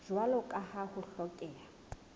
jwalo ka ha ho hlokeha